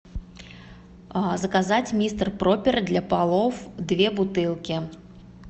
заказать мистер пропер для полов две бутылки